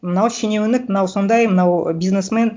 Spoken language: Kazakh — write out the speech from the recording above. мынау шенеунік мынау сондай мынау бизнесмен